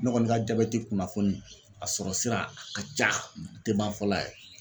Ne kɔni ka jabɛti kunnafoni a sɔrɔ sira a ka ca a te ban fɔlɔ yɛrɛ